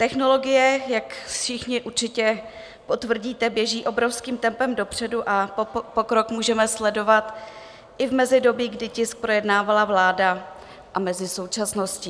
Technologie, jak všichni určitě potvrdíte, běží obrovským tempem dopředu a pokrok můžeme sledovat i v mezidobí, kdy tisk projednávala vláda, a mezi současností.